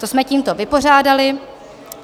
To jsme tímto vypořádali.